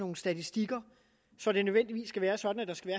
nogle statistikker så det nødvendigvis skal være sådan at der skal